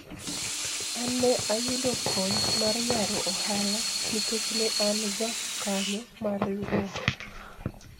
an ne ayudo kony mar yaro ohala nikech ne an jakanyo mar riwruok